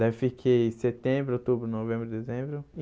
Daí fiquei setembro, outubro, novembro, dezembro.